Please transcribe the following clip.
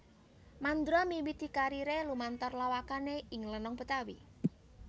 Mandra miwiti kariré lumantar lawakané ing lenong Betawi